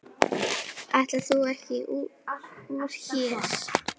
Ætlaðir þú ekki úr hér?